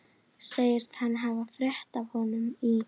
Segist hann hafa frétt af honum í